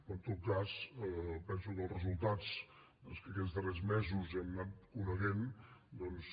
però en tot cas penso que els resultats que aquests darrers mesos hem anant coneixent doncs